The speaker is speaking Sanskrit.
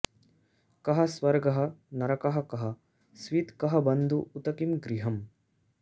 कः स्वर्गः नरकः कः स्वित् कः बन्धुः उत किं गृहम्